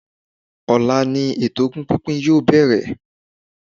Ọ̀la ni eto ogún pínpín yoo bẹ̀rẹ̀